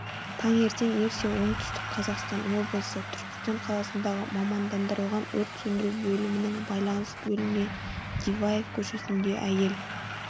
таңертең ерте оңтүстік қазақстан облысы түркістан қаласындағы мамандандырылған өрт сөндіру бөлімінің байланыс бөліміне диваев көшесінде әйел